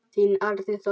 Þinn Árni Þór.